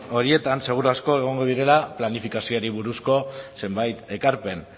horietan seguru asko egongo direla planifikazioari buruzko zenbait ekarpen